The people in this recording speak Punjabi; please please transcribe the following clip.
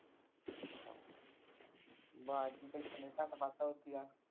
ਆਵਾਜ਼ ਵੀ ਤੇਰੀ ਕਿਵੇਂ ਘੱਟ ਵੱਧ ਆਉਂਦੀ ਆ।